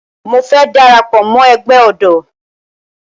Mo fẹ́ dara pọ̀ mọ́ ẹgbẹ́ ọ̀dọ́